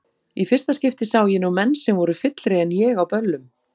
Í fyrsta skipti sá ég nú menn sem voru fyllri en ég á böllum.